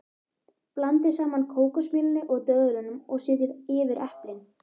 Blandið saman kókosmjölinu og döðlunum og setjið yfir eplin.